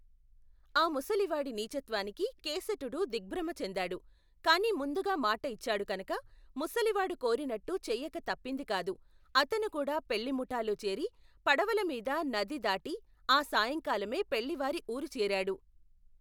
ఆ ముసలివాడి నీచత్వానికి కేసటుడు దిగ్భ్రమచెందాడు కాని ముందుగా మాట ఇచ్చాడు కనక ముసలివాడు కోరినట్టు చెయ్యక తప్పిందికాదు అతనుకూడా పెళ్ళిముఠాలో చేరి పడవల మీద నది దాటి ఆ సాయంకాలమే పెళ్ళివారి ఊరుచేరాడు.